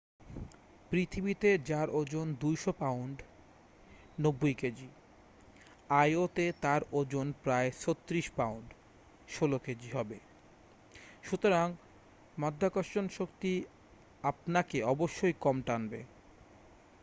পৃথিবীতে যার ওজন 200 পাউন্ড 90 কেজি io-তে তার ওজন প্রায় 36 পাউন্ড 16 কেজি হবে। সুতরাং মাধ্যাকর্ষণ শক্তি আপনাকে অবশ্যই কম টানবে।